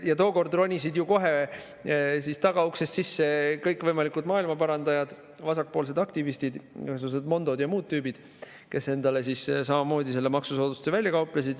Tookord ronisid ju kohe tagauksest sisse kõikvõimalikud maailmaparandajad, vasakpoolsed aktivistid, igasugused Mondod ja muud tüübid, kes endale samamoodi selle maksusoodustuse välja kauplesid.